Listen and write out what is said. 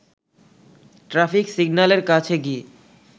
traffic সিগন্যালের কাছে গিয়ে